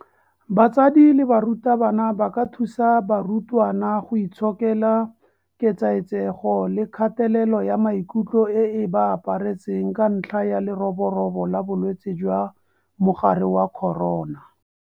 BATSADI LE BARUTABANA ba ka thusa barutwana go itshokela ketsaetsego le kgatelelo ya maikutlo e e ba aparetseng ka ntlha ya leroborobo la bolwetse jwa mogare wa corona.